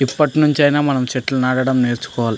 ఇప్పటి నుంచి అయిన మనం చెట్లు నాటడం నేర్చుకోవాలి.